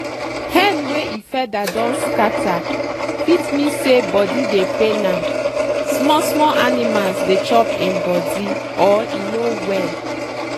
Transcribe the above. hen wey e feather don scatter fit mean say body dey pain am small small animals dey chop im body or e no well.